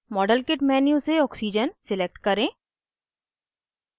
modelkit menu से oxygen select करें